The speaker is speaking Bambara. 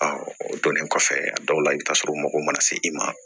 o donnen kɔfɛ a dɔw la i bɛ taa sɔrɔ u mago mana se i ma